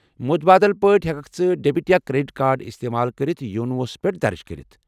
مُتبادل پٲٹھۍ ہیككھ ژٕ ڈیبِٹ یا كریڈِٹ كارڈ استمال كرِتھ یونو ہس پٮ۪ٹھ درٕج گٔژھِتھ ۔